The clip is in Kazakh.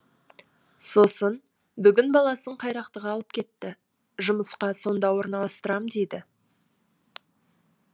сосын бүгін баласын қайрақтыға алып кетті жұмысқа сонда орналастырам дейді